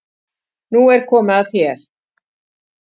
Nú er komið að þér.